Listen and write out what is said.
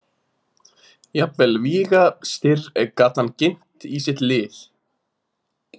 Jafnvel Víga- Styrr gat hann ginnt í sitt lið.